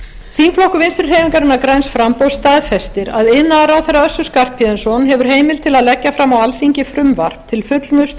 þingflokkur vinstri hreyfingarinnar græns framboðs staðfestir að iðnaðarráðherra össur skarphéðinsson hefur heimild til að leggja fram á alþingi frumvarp til fullnustu